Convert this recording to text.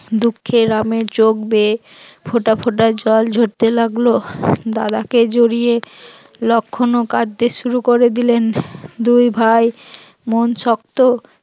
দুঃখে রামের চোখ বেয়ে ফোঁটা ফোটা জল ঝরতে লাগলো, দাদাকে জড়িয়ে লক্ষণও কাঁদতে শুরু করে দিলেন, দুই ভাই মন শক্ত